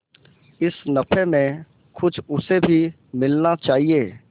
इस नफे में कुछ उसे भी मिलना चाहिए